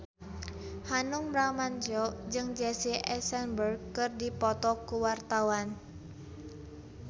Hanung Bramantyo jeung Jesse Eisenberg keur dipoto ku wartawan